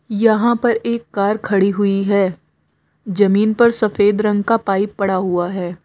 यहां पर एक कार खड़ी हुई है जमीन पर सफेद रंग का पाइप पड़ा हुआ है।